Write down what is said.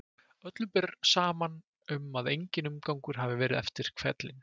Öllum ber saman um að enginn umgangur hafi verið eftir hvellinn.